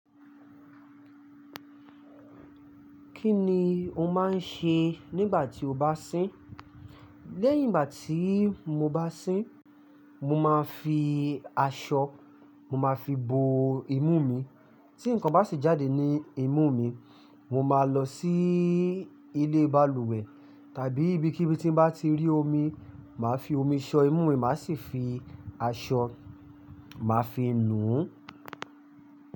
Kí ni o máa ń ṣe nígbà tí o bá sín? Lẹ́yìn ìgbà tí mo bá sín, mo máa fi aṣọ, mo máa fi bo imú mi. Tí nǹkan bá sì jáde ní imú mi, mo máa lọ sí ilé balùwẹ̀ tàbí ibikíbi tí mo bá ti rí omi, màá fi omi ṣan imú, màá sì fi aṣọ, màá fi nù ú.